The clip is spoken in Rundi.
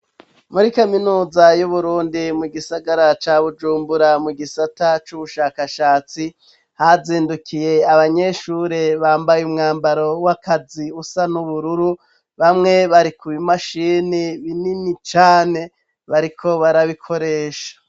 Muri kaminuza y'uburundi mu gisagara ca bujumbura mu gisata c'ubushakashatsi hazindukiye abanyeshure bambaye umwambaro w'akazi usa n'ubururu bamwe bari ku bimashini binini cane bariko barabikoresha.